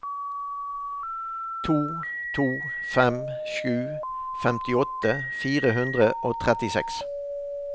to to fem sju femtiåtte fire hundre og trettiseks